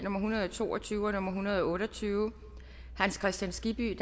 hundrede og to og tyve og en hundrede og otte og tyve hans kristian skibby